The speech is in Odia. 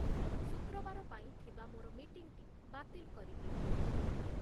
ଶୁକ୍ରବାର ପାଇଁ ଥିବା ମୋର ମିଟିଂଟି ବାତିଲ୍‌ କରିଦିଅ